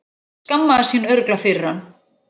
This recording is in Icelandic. Skammaðist sín örugglega fyrir hann.